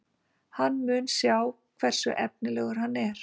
Hann mun sjá hversu efnilegur hann er.